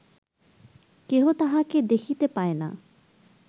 কেহ তাঁহাকে দেখিতে পায় না